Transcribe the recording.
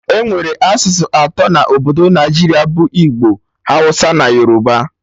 Enwere asụsụ atọ na Obodo Naijiria bụ Igbo, Hausa na Yoruba